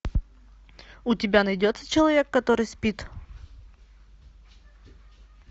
у тебя найдется человек который спит